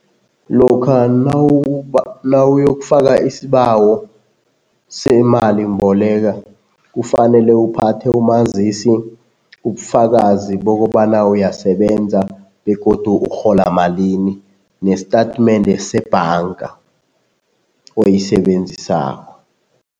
Lokha nawuyokufaka isibawo semalimboleka kufanele uphathe umazisi, ubufakazi bokobana uyasebenza begodu urhola malini nesitatimende sebhanga oyisebenzisako.